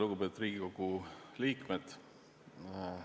Lugupeetud Riigikogu liikmed!